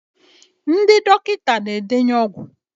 ndị dọkịta na-edenye ọgwụ